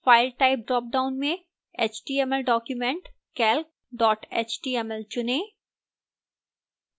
file type drop down में html document calc html चुनें